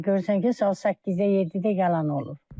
Səhər-səhər görürsən ki, saat 8-də, 7-də yalan olur.